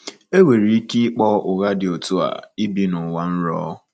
Enwere ike ịkpọ ụdị ụgha dị otú a ibi n'ụwa nrọ.